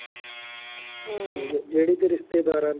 ਜਿਹੜੀ ਕੋਈ ਰਿਸ਼ਤੇਦਾਰਾਂ ਦੇ